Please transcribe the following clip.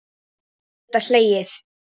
Gott að geta hlegið.